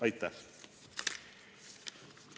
Aitäh!